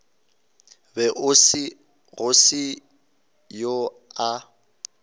be go se yo a